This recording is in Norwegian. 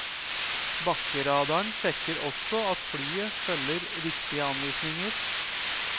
Bakkeradaren sjekker også at flyet følger riktige anvisninger.